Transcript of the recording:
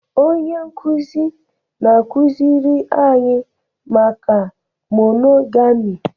Onye nkụzi na-akụziri anyị maka monogami